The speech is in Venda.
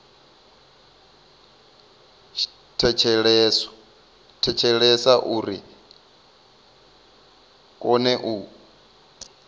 thetshelesa uri ri kone u